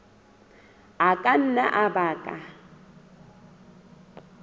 a ka nna a baka